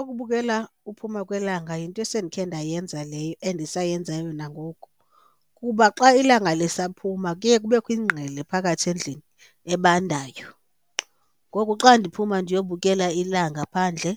Ukubukela uphuma kwelanga yinto esendikhe ndayenza leyo endisayenzayo nangoku, kuba xa ilanga lisaphuma kuye kubekho ingqele phakathi endlini ebandayo ngoku xa ndiphuma ndiyobukela ilanga phandle